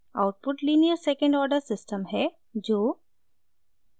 output linear second order system है जो